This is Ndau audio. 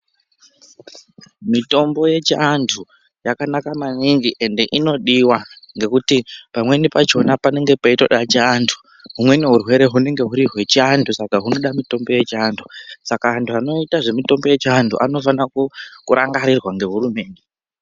Mitombo yechiantu yakanaka maningi ende inodiwa ngekuti pamweni pachona panenge peitoda chiantu. Humweni hurwere hunenge huri hwechiantu Saka hunoda mitombo yechiantu saka antu anoita mitombo yechiantu anofanira kurangarirwa ngehurumende.